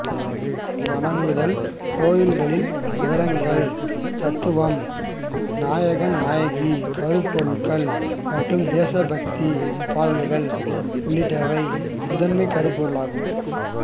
வணங்குதல் கோயில்களின் விவரங்கள் தத்துவம் நாயகன்நாயகி கருப்பொருள்கள் மற்றும் தேசபக்தி பாடல்கள் உள்ளிட்டவை முதன்மைக் கருப்பொருள்களாகும்